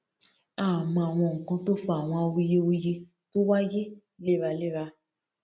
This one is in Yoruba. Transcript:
a mọ àwọn nǹkan tó fa àwọn awuyewuye tó wáyé léraléra